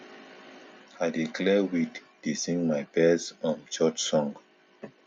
i dey clear weed dey sing my best um church song